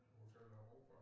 Hotel Europa